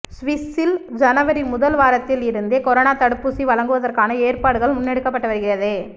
சுவிஸில் ஜனவரி முதல் வாரத்தில் இருந்தே கொரோனா தடுப்பூசி வழங்குவதற்கான ஏற்பாடுகள் முன்னெடுக்கப்பட்டு வருகிறது